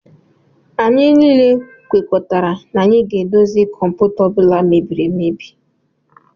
Anyị niile kwekoritara na anyị ga edozi kọmputa ọbula mebiri emebi.